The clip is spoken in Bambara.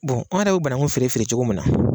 anw yɛrɛ be bananku feere feere cogo min na